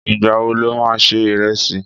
Ìgbà wo lo ma ṣe ìrẹsì?